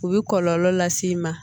U bɛ kɔlɔlɔ las'i ma